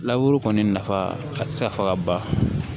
kɔni nafa a ti se ka fɔ ka ban